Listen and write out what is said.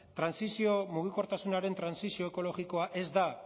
mugikortasunaren trantsizio ekologikoa ez da